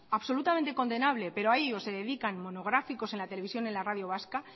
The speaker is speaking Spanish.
absolutamente condenable pero a ello se dedican monográficos en la televisión y radio vasca